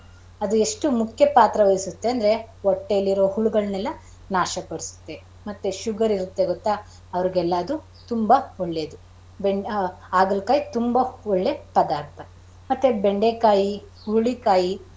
ಎಷ್ಟು ಮುಖ್ಯ ಪಾತ್ರ ವಹಿಸುತ್ತೆ ಅಂದ್ರೆ ಹೊಟ್ಟೆಲಿ ಇರೋ ಹುಳುಗಳೆಲ್ಲ ನಾಶ ಪಡಸುತ್ತೆ ಮತ್ತೆ sugar ಇರುತ್ತೆ ಗೊತ್ತಾ ಅವರಗೆಲ್ಲ ಅದು ತುಂಬಾ ಒಳ್ಳೇದು. ಆಗಳಕಾಯಿ ತುಂಬಾ ಒಳ್ಳೆ ಪದಾರ್ಥ ಮತ್ತೆ ಬೆಂಡೆಕಾಯಿ, ಹುರುಳಿಕಾಯಿ.